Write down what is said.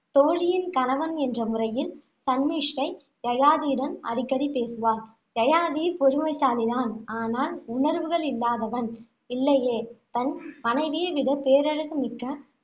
தோழியின் கணவன் என்ற முறையில், சன்மிஷ்டை யயாதியுடன் அடிக்கடி பேசுவாள். யயாதி பொறுமைசாலி தான் ஆனால், உணர்வுகள் இல்லாதவன் இல்லையே தன் மனைவியை விட பேரழகு மிக்க